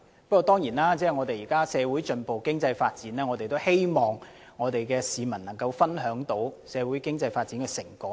不過，現時社會進步、經濟發展，我們當然希望市民能夠分享社會經濟發展的成果。